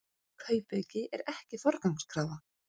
Kaupauki ekki forgangskrafa